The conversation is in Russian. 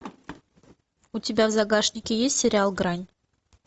у тебя в загашнике есть сериал грань